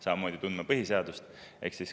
Samamoodi peab tundma põhiseadust.